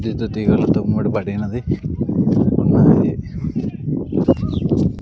ఈత తీగలతో ముడి పడినది ఉన్నది.